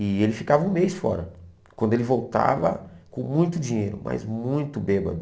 E ele ficava um mês fora, quando ele voltava com muito dinheiro, mas muito bêbado.